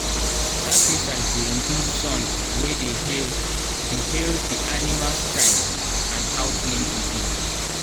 sacrifice dey include song wey dey hail the hail the animal strength and how clean e be.